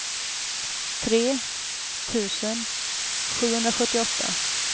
tre tusen sjuhundrasjuttioåtta